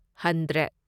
hundred